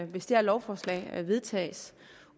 hvis det her lovforslag vedtages